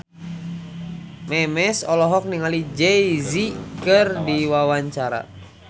Memes olohok ningali Jay Z keur diwawancara